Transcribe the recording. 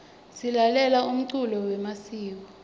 silalela umculo yemasiko